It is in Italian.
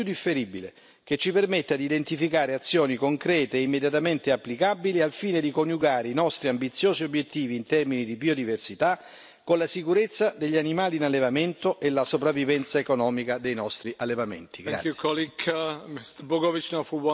Serve, caro Commissario, un piano di azione europeo non più differibile, che ci permetta di identificare azioni concrete e immediatamente applicabili al fine di coniugare i nostri ambiziosi obiettivi in termini di biodiversità con la sicurezza degli animali in allevamento e la sopravvivenza economica dei nostri allevamenti.